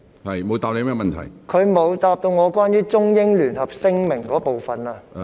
他沒有回答關於《中英聯合聲明》的部分。